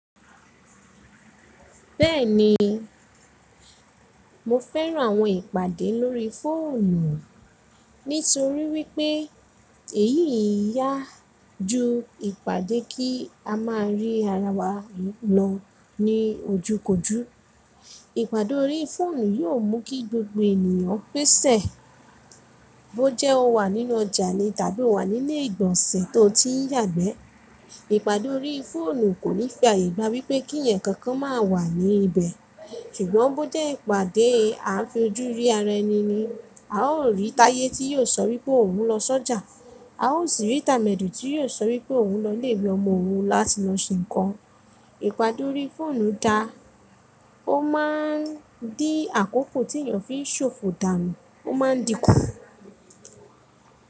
Bẹ́ẹ̀ni, mo fẹ́ran àwọn ìpàdé lórí fóònù nítorí wípé èyí yá ju ìpàdé kí a máa rí ara wa lọ ní ojú kojú. Ìpàdé lórí fóònù yóò mú kí gbogbo ènìyàn pèsè bó jẹ́ ó wà nínú ọjà ni tàbí ó wà nílé ìgbọ̀nsẹ̀ tó ti ń yàgbẹ́. Ìpàdé lórí fóònù kò ní fi ààyè gba wípé kí ẹ̀yàn kankan má wà ní ibẹ̀. Ṣùgbọ́n bó jẹ́ ìpàdé à ń fi ojú rí ara ẹni ni, a ó rí táyé tí yóò sọ wípé òun ń lọ sọ́jà, a ó sì rí tàmẹ́dù tí yóò sọ wípé òun ń lọ lébi ọmọ òun láti lọ ṣe nǹkan. Ìpàdé lórí fóònù da, ó máa ń dí àkókò tí èyàn fi ṣòfò dànù, ó ma ń dínkù.